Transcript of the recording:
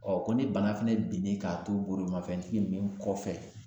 ko ni bana fɛnɛ binnen k'a to bolimafɛntigi min kɔfɛ